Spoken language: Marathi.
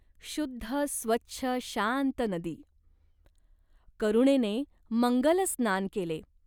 शुद्ध स्वच्छ शांत नदी. करुणेने मंगल स्नान केले.